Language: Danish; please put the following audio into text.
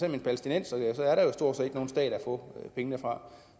en palæstinenser er der jo stort set ikke nogen stat at få pengene fra